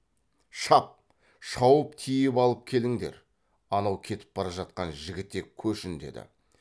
шап шауып тиіп алып келіңдер анау кетіп бара жатқан жігітек көшін деді